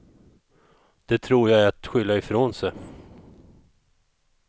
Det tror jag är att skylla ifrån sig.